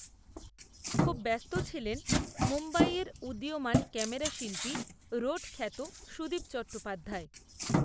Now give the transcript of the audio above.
খুব ব্যস্ত ছিলেন, মুম্বইয়ের উদীয়মান ক্যামেরাশিল্পী, রোড খ্যাত, সুদীপ চট্টোপাধ্যায়